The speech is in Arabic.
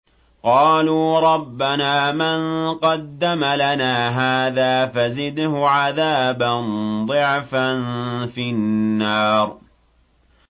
قَالُوا رَبَّنَا مَن قَدَّمَ لَنَا هَٰذَا فَزِدْهُ عَذَابًا ضِعْفًا فِي النَّارِ